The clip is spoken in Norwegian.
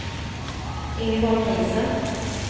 Ingeborg Riise